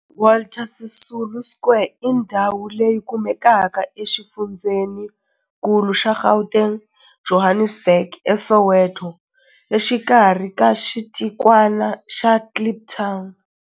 Walter Sisulu Square i ndhawu leyi kumekaka exifundzheninkulu xa Gauteng, Johannesburg, a Soweto, exikarhi ka xitikwana xa Kliptown.